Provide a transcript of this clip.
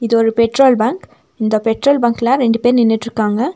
இது ஒரு petrol bunk இந்த பெட்ரோல் பங்க்ல ரெண்டு பேர் நின்னுட்ருக்காங்க.